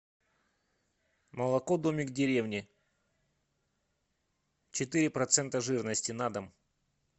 молоко домик в деревне четыре процента жирности на дом